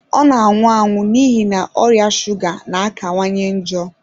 Ọ na-anwụ n'ihi, na ọrịa shuga na-akawanye njọ.